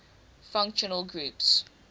functional groups